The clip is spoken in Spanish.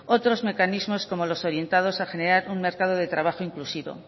otros mecanismos como los orientados a generar un mercado de trabajo inclusivo